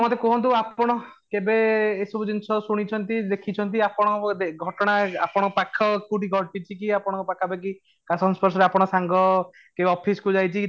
ତ ଆପଣ କୁହନ୍ତୁ ଆପଣ କେବେ ଏଇ ସବୁ ଜିନିଷ ଶୁଣିଛନ୍ତି, ଦେଖିଛନ୍ତି ଆପଣ ବୋଧେ ଘଟଣା ଆପଣ ପାଖ କୋଉଠି ଘଟିଛି କି ଆପଣ ପାଖ ପାଖି କାହା ସଂସ୍ପର୍ଶ ରେ ଆପଣ ସାଙ୍ଗ କିମ୍ବା office କୁ ଯାଇଛି